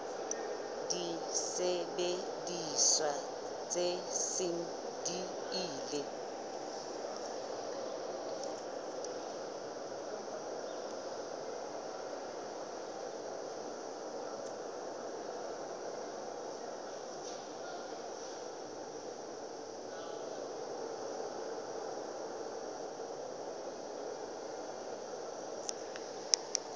disebediswa tse seng di ile